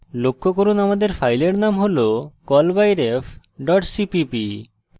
লক্ষ্য করুন আমাদের file name হল callbyref cpp